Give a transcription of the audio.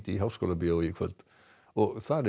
í Háskólabíói í kvöld þar er